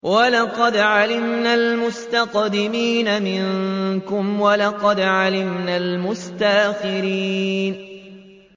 وَلَقَدْ عَلِمْنَا الْمُسْتَقْدِمِينَ مِنكُمْ وَلَقَدْ عَلِمْنَا الْمُسْتَأْخِرِينَ